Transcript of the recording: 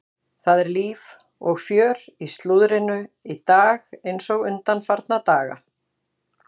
Það er líf og fjör í slúðrinu í dag eins og undanfarna daga.